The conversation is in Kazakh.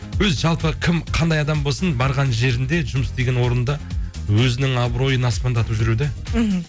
өзі жалпы кім қандай адам болсын барған жерінде жұмыс істеген орынында өзінің абыройын аспандатып жүру де мхм